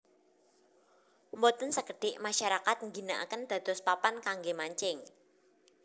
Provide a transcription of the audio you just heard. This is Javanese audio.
Boten sekedik masyarakat ngginakaken dados papan kangge mancing